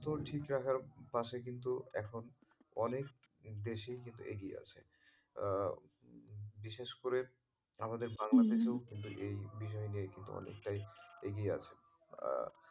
ঠিক রাখার পাশে কিন্তু এখন অনেক দেশেই কিন্তু এগিয়ে আছে আহ বিশেষ করে আমাদের বাংলাদেশেও কিন্তু এই বিষয় নিয়ে কিন্তু অনেক এগিয়ে আছে আহ